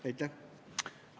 Aitäh!